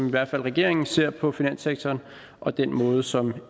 i hvert fald regeringen ser på finanssektoren og den måde som